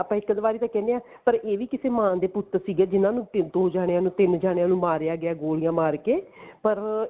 ਇੱਕ ਦੋ ਵਾਰੀ ਤਾਂ ਕਹਿਨੇ ਹਾਂ ਪਰ ਇਹ ਵੀ ਕਿਸੇ ਮਾਂ ਦੇ ਪੁੱਤ ਸੀਗੇ ਜਿਹਨਾ ਨੂੰ ਦੋ ਜਾਣਿਆ ਨੂੰ ਮਾਰਿਆ ਗਿਆ ਗੋਲੀਆਂ ਮਾਰ ਕੇ ਪਰ